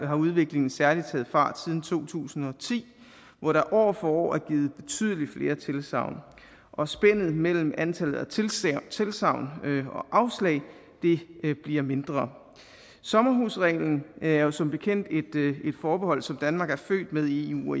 har udviklingen særlig taget fart siden to tusind og ti hvor der år for år er givet betydelig flere tilsagn og spændet mellem antallet af tilsagn og afslag bliver mindre sommerhusreglen er jo som bekendt et forbehold som danmark er født med i eu